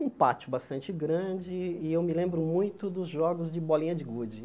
Um pátio bastante grande e eu me lembro muito dos jogos de bolinha de gude.